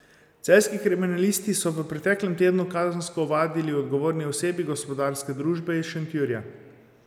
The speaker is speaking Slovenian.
Celjski kriminalisti so v preteklem tednu kazensko ovadili odgovorni osebi gospodarske družbe iz Šentjurja.